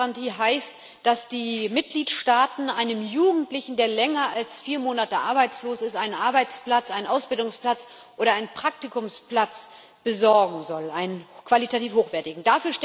Die Jugendgarantie heißt, dass die Mitgliedstaaten einem Jugendlichen, der länger als vier Monate arbeitslos ist, einen Arbeitsplatz, einen Ausbildungsplatz oder einen Praktikumsplatz besorgen sollen, und zwar einen qualitativ hochwertigen.